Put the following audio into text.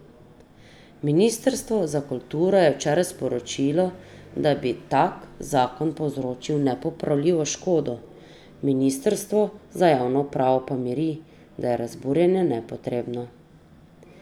Ministrstvo za kulturo je včeraj sporočilo, da bi tak zakon povzročil nepopravljivo škodo, ministrstvo za javno upravo pa miri, da je razburjenje nepotrebno.